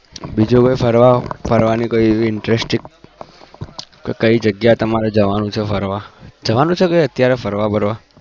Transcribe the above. બીજું કોઈ ફરવા ફરવાની કોઈ એવી interesting કે કઈ જગ્યા એ તમારે જવાનું ફરવા જવાનું છે અત્યારે ફરવા બરવા?